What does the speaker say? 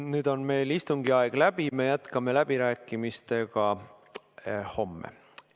Nüüd on meil istungi aeg läbi, me jätkame läbirääkimistega homme.